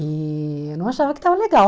E eu não achava que estava legal.